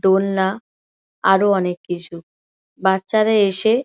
দোলনা আরো অনেক কিছু বাচ্চারা এসে।